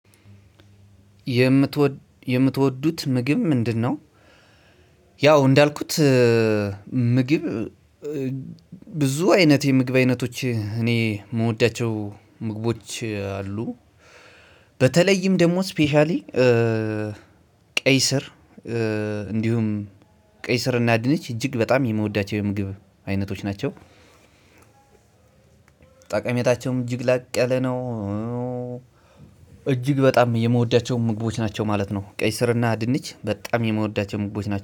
የምትወዱት ምግብ ምንድነው? ያው እንዳልኩት ምግብ ብዙ አይነት የምግብ አይነቶች እኔ የምወዳቸው ምግቦች አሉ በተለይም ደግሞ ስፔሻሊ ቀይ ስር እንዲሁም ቀይ ስር እናድነች እጅግ በጣም የምወዳቸው የምግብ አይነቶች ናቸው። ጠቀሜታቸውም እጅግ ላቅ ያለ ነው። እጅግ በጣም የምወዳቸው ምግቦች ናቸው ማለት ነው ቀይ ስርና ድንች በጣም የምወዳቸው ምግቦች ናቸው